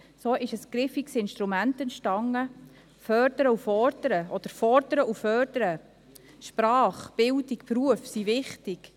So ist ein griffiges Instrument entstanden: Fördern und Fordern oder Fordern und Fördern, Sprache, Bildung, Beruf sind wichtig.